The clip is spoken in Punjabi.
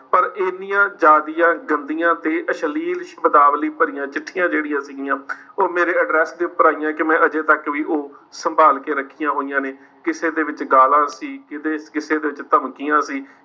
ਪਰ ਇੰਨੀਆਂ ਜ਼ਿਆਦੀਆ ਗੰਦੀਆਂ ਤੇ ਅਸ਼ਲੀਲ ਸ਼ਬਦਾਵਲੀ ਭਰੀਆਂ ਚਿੱਠੀਆਂ ਜਿਹੜੀਆਂ ਸੀਗੀਆਂ ਉਹ ਮੇਰੇ address ਦੇ ਉੱਪਰ ਆ ਗਈਆਂ ਕਿ ਮੈਂ ਹਜੇ ਤੱਕ ਵੀ ਉਹ ਸੰਭਾਲ ਕੇ ਰੱਖੀਆਂ ਹੋਈਆਂ ਨੇ, ਕਿਸੇ ਦੇ ਵਿੱਚ ਗਾਲਾਂ ਸੀ, ਕਿਤੇ ਕਿਸੇ ਵਿੱਚ ਧਮਕੀਆਂ ਸੀ।